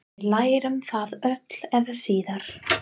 Við lærum það öll eða síðar.